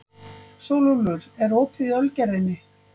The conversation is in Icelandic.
Sólúlfur, er opið í Ölgerðinni?